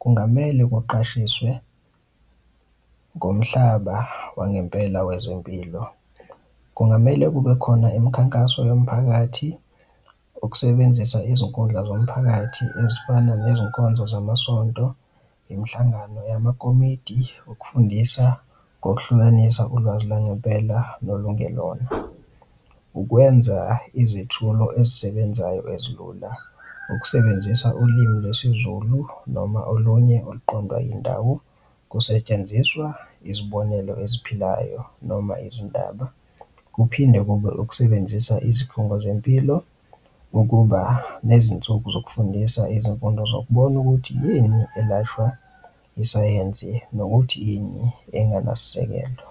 kungamele kuqashiswe ngomhlaba wangempela wezempilo. Kungamele kube khona imikhankaso yomphakathi, ukusebenzisa izinkundla zomphakathi ezifana nezinkonzo zamasonto, imihlangano yamakomidi, ukufundisa ngokuhlukanisa ulwazi langempela nolungelona. Ukwenza izethulo ezisebenzayo ezilula, ukusebenzisa ulimi lwesiZulu noma olunye oluqondwa yindawo kusetshenziswa izibonelo eziphilayo noma izindaba. Kuphinde kube ukusebenzisa izikhungo zempilo, ukuba nezinsuku zokufundisa izimfundo zokubona ukuthi yini elashwa isayensi nokuthi yini enganasisekelo.